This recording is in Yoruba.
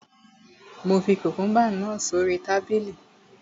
Mo fi kùkùúmbà náà sórí tábìlì